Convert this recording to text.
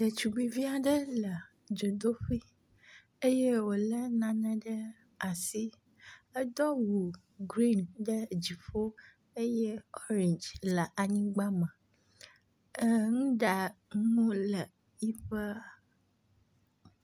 Ɖetugbivi aɖe le dzodoƒe eye wolé nane ɖe asi. Edo awu griŋ ɖe dziƒo eye oriŋdzi le anyigba me. Er nuɖanu le eƒe …